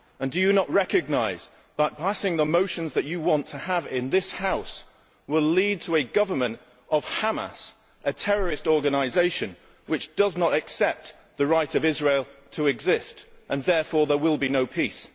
Do you not recognise that passing the motions that you want to have in this House will lead to a Government of Hamas, a terrorist organisation which does not accept the right of Israel to exist, and therefore there will be no peace?